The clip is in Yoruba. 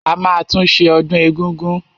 A máa tún ṣe ọdún egúngún.